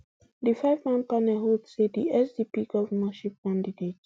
di fiveman panel hold say di sdp govnorship candidate